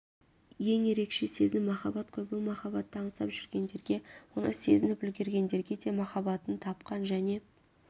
ең ерекше сезім махаббат қой бұл махаббатты аңсап жүргендерге оны сезініп үлгергендерге де махаббатын тапқан және